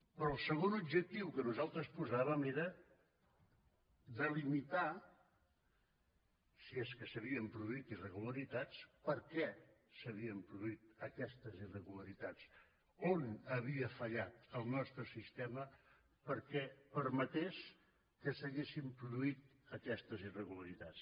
però el segon objectiu que nosaltres posàvem era delimitar si és que s’havien produït irregularitats per què s’havien produït aquestes irregularitats on havia fallat el nostre sistema perquè permetés que s’haguessin produït aquestes irregularitats